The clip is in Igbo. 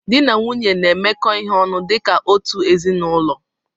Dị na nwunye na-emekọ ihe ọnụ dịka otu ezinaụlọ